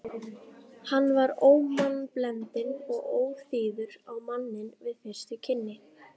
Hann var ómannblendinn og óþýður á manninn við fyrstu kynni.